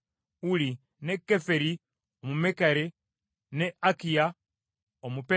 ne Keferi Omumekera, ne Akiya Omuperoni,